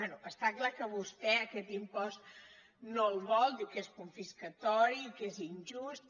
bé està clar que vostè aquest impost no el vol diu que és confiscatori que és injust